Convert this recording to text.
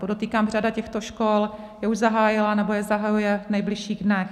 Podotýkám, řada těchto škol je už zahájila nebo je zahajuje v nejbližších dnech.